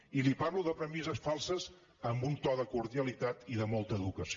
i li parlo de premisses falses amb un to de cordialitat i de molta educació